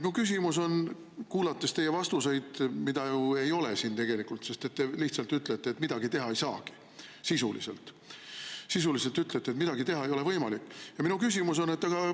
Kuulates teie vastuseid, mida ju ei ole, sest te lihtsalt ütlete, et ei saagi midagi teha – sisuliselt ütlete, et midagi ei ole võimalik teha –, on minu küsimus selline.